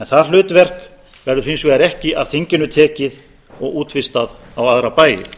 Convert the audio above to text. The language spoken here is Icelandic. það hlutverk verður hins vegar ekki af þinginu tekið og útvistað á aðra bæi